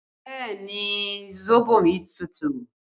Bẹẹ ni, sóbò mi tútù